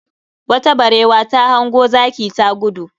Wata barewa ta hango zaki ta gudu